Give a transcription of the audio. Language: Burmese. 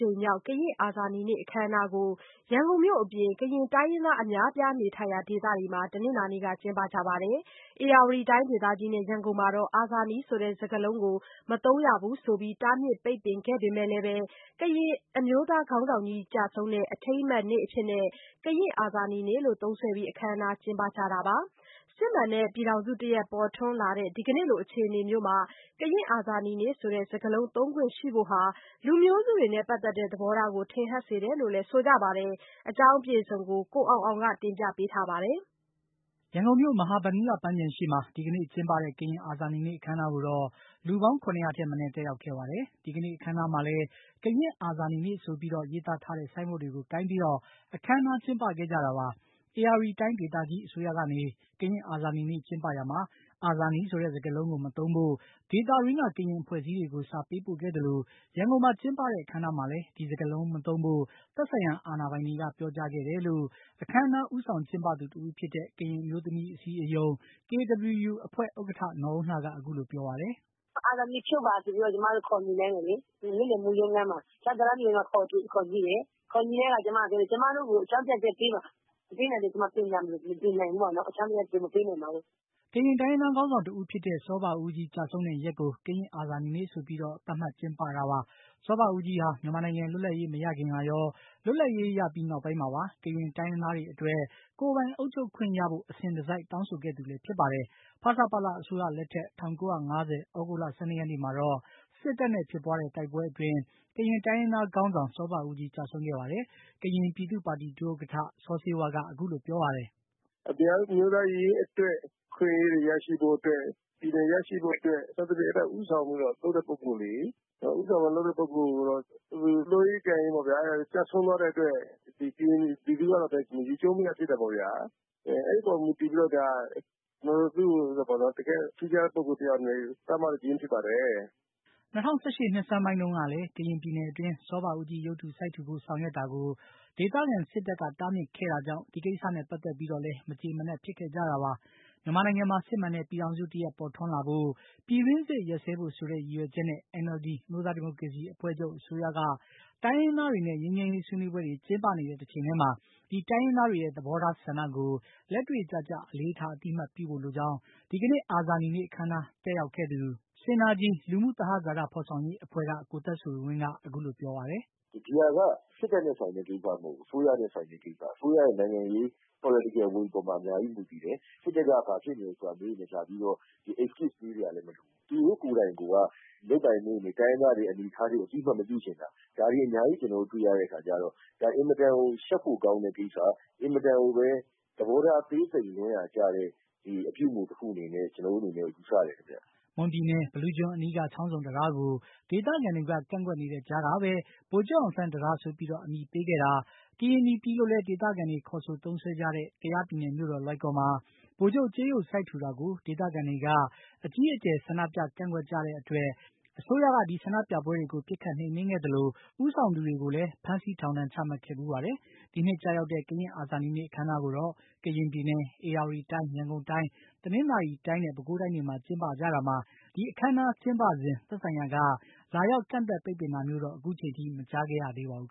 ြိမ်မြောက် ကရင်အာဇာနည်နေ့အခမ်းအနားကို ရန်ကုန်မြို့အပြင် ကရင်တိုင်းရင်းသားအများအပြားနေထိုင်ရာ ဒေသတွေမှာ တနင်္လာနေ့က ကျင်းပကြပါတယ်။ ဧရာဝတီတိုင်းဒေသကြီးနဲ့ ရန်ကုန်မှာတော့ အာဇာနည်ဆိုတဲ့ စကားလုံးကို မသုံးရဘူးဆိုပြီး တားမြစ်ပိတ်ပင်ခဲ့ပေမယ့်လည်းပဲ ကရင်အမျိးသားခေါင်းဆောင်ကြီးကျဆုံးတဲ့ အထိမ်းအမှတ်နေ့အဖြစ်နဲ့ ကရင်အာဇာနည်နေ့လို့ သုံးစွဲပြီး အခမ်းအနားကျင်းပကြတာပါ။ စစ်မှန်တဲ့ ပြည်ထောင်စုတရပ် ပေါ်ထွန်းလာတဲ့ ဒီကနေ့လို အခြေအနေမျိုးမှာ ကရင်အာဇာနည်နေ့ဆိုတဲ့ စကားလုံးသုံးခွင့်ရှိဘို့ဟာ လူမျိုးစုတွေနဲ့ ပတ်သတ်တဲ့ သဘောထားကို ထင်ဟပ်စေတယ်လို့လည်း ဆိုကြပါတယ်။ ဒီအကြောင်း ကိုအောင်အောင်က တင်ပြပေးထားပါတယ်။ ဒီကနေ့ ရန်ကုန်မြို့ မဟာဗန္ဓုလပန်းခြံရှေ့မှာကျင်းပတဲ့ ကရင်အာဇာနည်နေ့အခမ်းအနားကိုတော့ လူပေါင်း ၇၀၀ ထက်မနည်း တက်ရောက်ခဲ့ပါတယ်။ ဒီကနေ့ အခမ်းအနားမှာလည်းကရင်အာဇာနည်နေ့ဆိုပြီး ရေးသားထားတဲ့ ဆိုင်းဘုတ်တွေကိုင်ပြီး အခမ်းအနားကျင်းပခဲ့ကြတာပါ။ ဧရာဝတီတိုင်းဒေသကြီး အစိုးရကနေ ကရင်အာဇာနည်နေ့ကျင်းပရာမှာ အာဇာနည်ဆိုတဲ့ စကားလုံးကို မသုံးဖို့ ဒေသတွင်းက ကရင်အဖွဲ့အစည်းတွေကို စာပေးပို့ခဲ့သလို ရန်ကုန်မှာကျင်းပတဲ့ အခမ်းအနားမှာလည်း ဒီစကားလုံးမသုံးဖို့ သက်ဆိုင်ရာအာဏာပိုင်တွေက ပြောကြားခဲ့တယ်လို့ အခမ်းအနားဦးဆောင်ကျင်းပသူတဦးဖြစ်တဲ့ ကရင်အမျိုးသမီးအစည်းအရုံး KWU အဖွဲ့ ဥက္ကဌ နော်အုန်းလှက အခုလိုပြောပါတယ်။ “ အာဇာနည်ဖြုတ်ပါဆိုပြီးတော့ ကျမတို့ကို ခေါ်ညှိတယ် ဒီနေ့လည် ရုံးခန်းမှာ ၊ ခေါ်ညှိတဲ့အခါမှာ ကျမတို့ကို အကြောင်းပြချက်ပေးပါ မပေးနိုင်ရင် ပြင်စရာမလိုဘူးလို့ မပြင်နိုင်ဘူးလို့အကြောင်းပြချက် မပေးနိုင်ရင်။” ကရင်တိုင်းရင်းသားခေါင်းဆောင်တဦးဖြစ်တဲ့ စောဘဦးကြီးကျဆုံးတဲ့ရက်ကို ကရင်အာဇာနည်နေ့ဆိုပြီး ကျင်းပတာပါ။ စောဘဦးကြီးဟာ မြန်မာနိုင်ငံလွတ်လပ်ရေးမရခင်ကရော လွတ်လပ်ရေး ရပြီးနောက်ပိုင်းမှာပါ ကရင်တိုင်းရင်းသားတွေအတွက် ကိုယ်ပိုင်အုပ်ချုပ်ခွင့်ရဖို့ အစဉ်တစိုက်တောင်းဆိုခဲ့သူလည်းဖြစ်ပါတယ်။ ဖဆပလအစိုးရလက်ထက် ၁၉၅၀ သြဂုတ်လ ၁၂ ရက်နေ့မှာတော့ စစ်တပ်နဲ့ ဖြစ်ပွားတဲ့ တိုက်ပွဲအတွင်း ကရင်တိုင်းရင်းသားခေါင်းဆောင် စောဘဦးကြီး ကျဆုံးခဲ့ပါတယ်။ ကရင်ပြည်သူ့ပါတီဒုဥက္ကဌ စောဆေးဝါးက အခုလိုပြောပါတယ်။ “ကရင်အမျိုးသားရေးအတွက် အခွင့်အရေးတွေ ရရှိဖို့အတွက် ၊ ပြည်နယ်ရရှိဖို့အတွက် စသဖြင့် အဲဒီလို ဦးဆောင်ပြီးတော့ လုပ်တဲ့ ပုဂ္ဂိုလ်တွေ လုပ်ရင်းကိုင်ရင်း ကျဆုံးသွားတဲ့အတွက် ကရင် ပြည်သူလူထုက ယူကျုံးမရဖြစ်တယ်ပေါ့ဗျာ။ အဲဒီအပေါ် မူတည်ပြီးတော့ သူ့ကို တကယ့် ထူးခြားတဲ့ ပုဂ္ဂိုလ်တယောက်အနေနဲ့ သတ်မှတ်ခြင်းဖြစ်ပါတယ်။” ၂၀၁၈ နှစ်ဆန်းပိုင်းတုန်းကလည်း ကရင်ပြည်နယ်အတွင်း စောဘဦးကြီးရုပ်တုစိုက်ထူဖို့ ဆောင်ရွက်တာကို ဒေသခံ စစ်တပ်က တားမြစ်ခဲ့တာကြောင့် ဒီကိစ္စနဲ့ ပတ်သတ်ပြီးတော့လည်း မကြေမနပ်ဖြစ်ခဲ့ကြတာပါ။ မြန်မာနိုင်ငံမှာ စစ်မှန်တဲ့ပြည်ထောင်စုတရပ် ပေါ်ထွန်းလာဖို့၊ ပြည်တွင်းစစ်ရပ်စဲဖို့ဆိုတဲ့ ရည်ရွယ်ချက်နဲ့ NLD အမျိုးသားဒီမိုကရေစီအဖွဲ့ချုပ် အစိုးရက တိုင်းရင်းသားတွေနဲ့ ငြိမ်းချမ်းရေးဆွေးနွေးပွဲတွေ ကျင်းပနေတဲ့ တချိန်တည်းမှာ တိုင်းရင်းသားတွေရဲ့ သဘောထားဆန္ဒကို လက်တွေ့ကျကျ အလေးထား အသိအမှတ်ပြုဖို့လိုကြောင်း ဒီကနေ့ကရင်အာဇာနည်နေ့ အခမ်းအနား တက်ရောက်ခဲ့သူ SYNERGY လူမှုသဟဇာတ ဖော်ဆောင်ရေးအဖွဲ့က ကိုသက်ဆွေဝင်းက အခုလိုပြောပါတယ်။ “ဒီဟာက စစ်တပ်နဲ့ ဆိုင်တဲ့ ကိစ္စမဟုတ်ဘူး ။ အစိုးရနဲ့ ဆိုင်တဲ့ကိစ္စ အစိုးရရဲ့ နိုင်ငံရေး Political will အပေါ်မှာ အများကြီးမူတည်နေတယ်။ စစ်တပ်က ဘာဖြစ်နေ ဒါလာပြီးတော့ excuse ပေးစရာလည်း မလိုဘူး။ သူတို့ကိုယ်တိုင်က လုပ်ပိုင်ခွင့်တွေ တိုင်းရင်းသားတွေကို အသိအမှတ်မပြုချင်တာ ဒါတွေအများကြီးကို ကျနော်တို့ တွေ့ရတဲ့အခါကျတော့ ဒါ အင်မတန်ကို ရှက်ဖို့ကောင်းတဲ့ ကိစ္စ ၊ အင်မတန်ကိုပဲ သဘောထား သေးသိမ်လွန်းရာ ကျတဲ့ အပြုအမှုတခုလို့ ကျနော်တို့ ယူဆပါတယ်။” မွန်ပြည်နယ် ဘီလူးကျွန်းအနီးက ချောင်းဆုံတံတားကို ဒေသခံတွေက ကန့်ကွက်နေတဲ့ကြားကပဲ ဗိုလ်ချုပ်အောင်ဆန်းတံတားဆိုပြီး အမည်ပေးခဲ့တာ၊ ကရင်နီပြည်လို့လည်း ဒေသခံတွေ ခေါ်ဆိုသုံးစွဲကြတဲ့ ကယားပြည်နယ်မြို့တော် လွိုင်ကော်မှာ ဗိုလ်ချုပ်ကြေးရုပ်စိုက်ထူတာကို ဒေသခံတွေက အကြီးအကျယ် ဆန္ဒပြကန့်ကွက်ကြတဲ့အတွက် အစိုးရက ဒီဆန္ဒပြပွဲတွေ ပစ်ခတ်နှိမ်နင်းခဲ့သလို ဦးဆောင်သူတွေကို ဖမ်းဆီး ထောင်ဒဏ်ချမှတ်ခဲ့ဘူးပါတယ်။ ဒီနှစ်ကျရောက်တဲ့ ကရင် အာဇာနည်နေ့အခမ်းအနားကိုတော့ ကရင်ပြည်နယ်၊ ဧရာဝတီတိုင်း၊ ရန်ကုန်တိုင်း၊ တနင်္သာရီတိုင်းနဲ့ ပဲခူးတိုင်းတွေမှာ ကျင်းပကြတာမှာ အခမ်းအနားကျင်းပစဉ် သက်ဆိုင်ရာက လာရောက်ကန့်သတ် ပိတ်ပင်တာမျိုးတော့ ခုချိန်ထိ မကြားခဲ့ရသေးပါဘူး